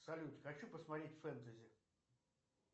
салют хочу посмотреть фэнтези